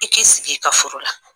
I k'i sigi i ka furu la